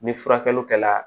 Ni furakɛli kɛla